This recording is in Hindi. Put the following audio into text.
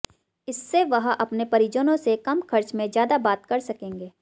इससे वह अपने परिजनों से कम खर्च में ज्यादा बात कर सकेंगे